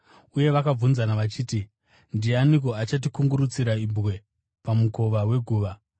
uye vakabvunzana vachiti, “Ndianiko achatikungurutsira ibwe pamukova weguva?”